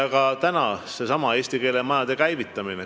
Ka seesama eesti keele majade käivitamine.